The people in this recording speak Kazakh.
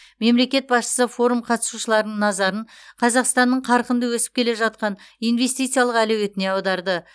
мемлекет басшысы форум қатысушыларының назарын қазақстанның қарқынды өсіп келе жатқан инвестициялық әлеуетіне аударды